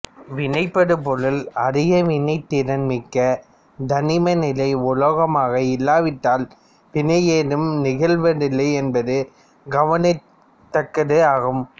வினைபடு பொருள் அதிக வினைத்திறன் மிக்க தனிமநிலை உலோகமாக இல்லாவிட்டால் வினை ஏதும் நிகழ்வதில்லை என்பது கவனிக்கத் தக்கது ஆகும்